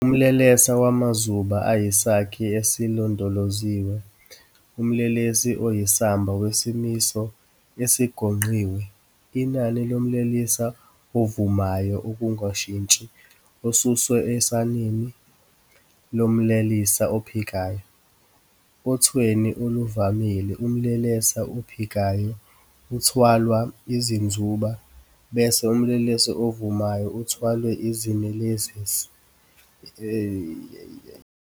Umlelesa wamazuba uyisakhi esilondoloziwe, umlelesa oyisamba wesimiso esigonqiwe, inani lomlelesa ovumayo ongenakushintsha, osuswe enanini lomlelesa ophikayo. Othweni oluvamile, umlelesa ophikayo uthwalwa izinzuba, bese umlelesa ovumayo uthwalwe izinelesi endenini yeChwe.